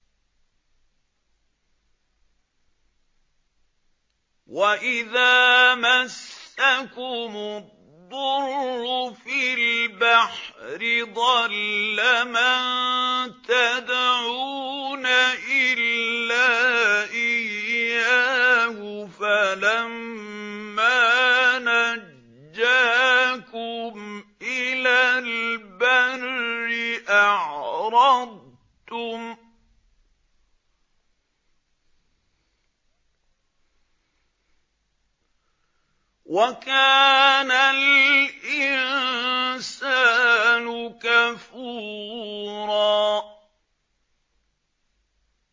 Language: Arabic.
وَإِذَا مَسَّكُمُ الضُّرُّ فِي الْبَحْرِ ضَلَّ مَن تَدْعُونَ إِلَّا إِيَّاهُ ۖ فَلَمَّا نَجَّاكُمْ إِلَى الْبَرِّ أَعْرَضْتُمْ ۚ وَكَانَ الْإِنسَانُ كَفُورًا